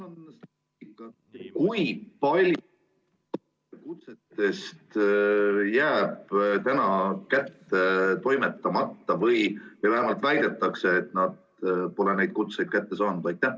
Kui palju kutsetest jääb kätte toimetamata või vähemalt väidetakse, et neid kutseid ei ole kätte saadud?